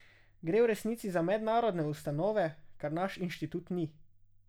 Gre v resnici za mednarodne ustanove, kar naš inštitut ni.